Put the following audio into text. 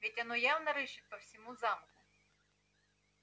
ведь оно явно рыщет по всему замку